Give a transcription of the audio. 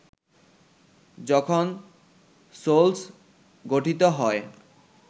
যখন সোলস গঠিত হয়